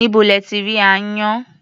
Níbo lẹ ti rí aáyán?